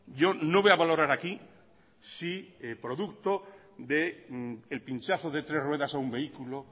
yo no voy a valorar aquí si producto del pinchazo de tres ruedas a un vehículo